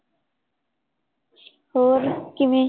ਹੋਰ ਕਿਵੇਂ?